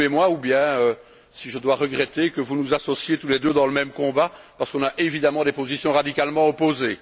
Bloom et moi ou bien si je dois regretter que vous nous associiez tous les deux dans le même combat parce qu'on a évidemment des positions radicalement opposées.